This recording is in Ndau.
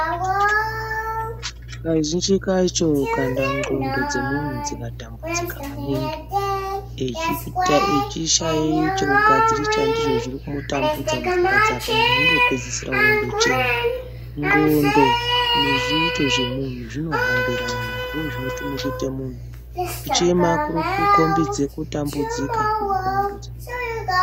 Kazhinji kacho kana ndxondo dzemuntu dzikatambudzika maningi echishaye chekugadzirisa ndicho mupfungwa dzake muntu unopedzisira ondochema. Ndxondo nezviito zvemuntu zvinohambirana ndozvinotume kuite muntu. Kuchema kuri kukombidze kutambodzika kwendxondo dzemuntu.